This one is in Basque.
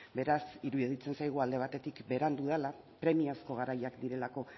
beraz iruditzen zaigu alde batetik berandu dela premiazko garaiak direlako